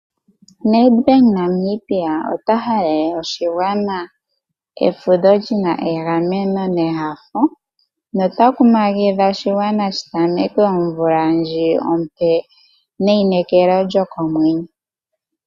Nedbank Namibia ota halele oshigwana efudho lyi na egameno nehafo no ta kumagidha oshigwana shi tameke omvula ndji ompe neyinekelo lyokomwenyo.